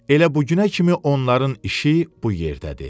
Elə bu günə kimi onların işi bu yerdədir.